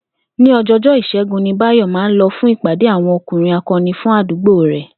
Ní o̩jo̩o̩jó̩ Ìs̩é̩gun ni Báyò̩ máa ń lo̩ fún ìpàdé àwo̩n O̩kùnrin Ako̩ni fún àdúgbò rè̩